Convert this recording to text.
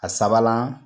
A sabanan